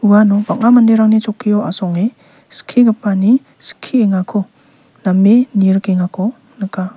uano bang·a manderangni chokkio asonge skigipani skiengako name nirikengako nika.